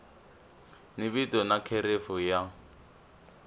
ni vito na kherefu ya